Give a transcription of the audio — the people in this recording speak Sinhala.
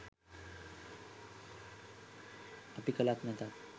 අපි කලත් නැතත්